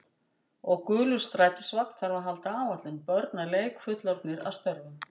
Og gulur strætisvagn þarf að halda áætlun, börn að leik, fullorðnir að störfum.